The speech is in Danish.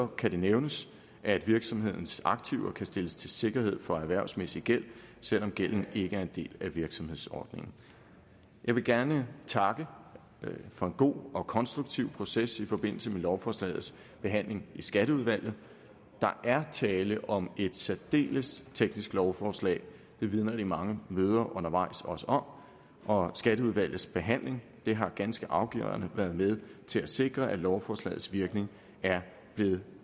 kan det nævnes at virksomhedens aktiver kan stilles til sikkerhed for erhvervsmæssig gæld selv om gælden ikke er en del af virksomhedsordningen jeg vil gerne takke for en god og konstruktiv proces i forbindelse med lovforslagets behandling i skatteudvalget der er tale om et særdeles teknisk lovforslag det vidner de mange møder undervejs også om og skatteudvalgets behandling har ganske afgørende været med til at sikre at lovforslagets virkning er blevet